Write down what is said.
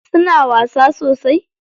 Suna wasa sosai?